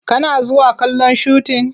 Kana zuwa kallon shutin?